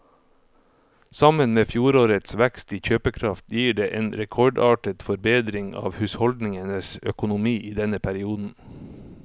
Sammen med fjorårets vekst i kjøpekraft gir det en rekordartet forbedring av husholdningenes økonomi i denne perioden.